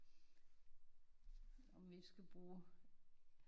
Om vi ikke skal bruge